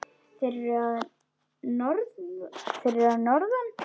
Þeir eru að norðan.